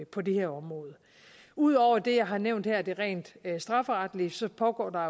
på det her område ud over det jeg har nævnt her det rent strafferetlige pågår der